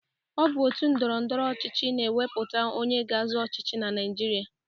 Ọ bụ òtù ndọrọ ndọrọ ọchịchị na-ewepụta onye ga-azọ ọchịchị na Naịjirịa.